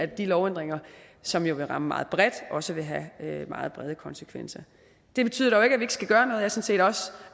de lovændringer som jo vil ramme meget bredt også vil have meget brede konsekvenser det betyder dog ikke at vi ikke skal gøre noget jeg set også